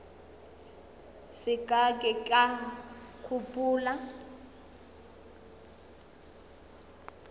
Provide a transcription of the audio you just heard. se ka ke ka gopola